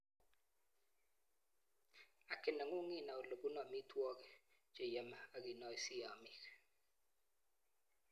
Haki nengung inai olepunu amitwakik cheiome akinoisi amiik